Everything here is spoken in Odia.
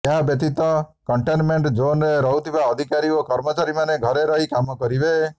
ଏହା ବ୍ୟତୀତ କଣ୍ଟେନମେଣ୍ଟ ଜୋନ୍ରେ ରହୁଥିବା ଅଧିକାରୀ ଓ କର୍ମଚାରୀମାନେ ଘରେ ରହି କାମ କରିବେ